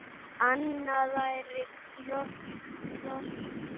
Annað væri hroki.